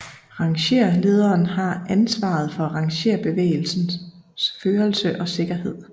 Rangerlederen har ansvaret for rangerbevægelsens førelse og sikkerhed